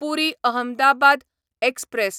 पुरी Ahmedabad express